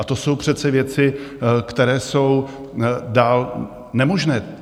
A to jsou přece věci, které jsou dál nemožné.